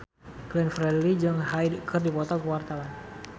Glenn Fredly jeung Hyde keur dipoto ku wartawan